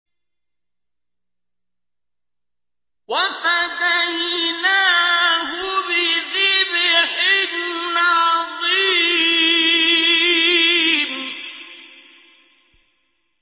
وَفَدَيْنَاهُ بِذِبْحٍ عَظِيمٍ